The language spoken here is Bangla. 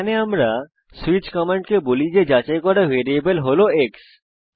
এখানে আমরা সুইচ কমান্ডকে বলি যে যাচাই করা ভ্যারিয়েবল হল এক্স